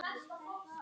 Bara fyndið.